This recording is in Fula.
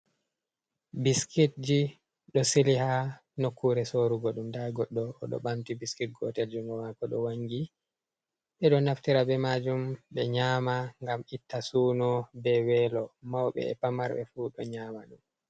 Ɓiskitji ɗo sili ha nokkuure soorugo ɗum, ndaa goɗɗo o ɗo ɓamti biskit gootel junngo maako ɗo wanngi. Ɓe ɗo naftira bee maajum ɓe nyaama ngam itta suuno bee weelo. Mawɓe bee famarɓe fuu ɗo nyaama ɗum.